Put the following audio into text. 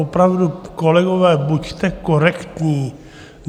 Opravdu, kolegové, buďte korektní!